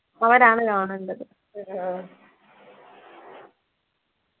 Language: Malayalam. അവരാണ് കാണണ്ടത്